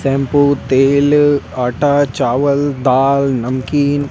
shampoo तेल आटा चावल दाल नमकीन--